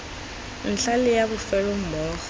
ntlha le ya bofelo mmogo